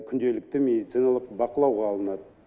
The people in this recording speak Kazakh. күнделікті медицианлық бақылауға алынады